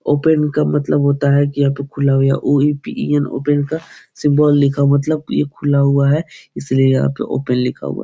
open का मतलब होता है कि ये यहाँ पे खुला हुआ O E P E N open का सिम्बोल लिखा मतलब की खुला हुआ है इसलिए यहाँ पे ओपेन लिखा हुआ --